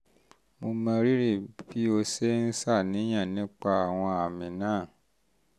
mo mọrírì bí o ṣe ń ṣàníyàn nípa àwọn àmì náà